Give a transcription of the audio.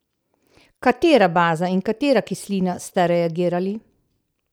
Katera baza in katera kislina sta reagirali?